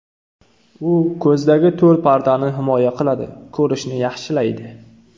U ko‘zdagi to‘r pardani himoya qiladi, ko‘rishni yaxshilaydi.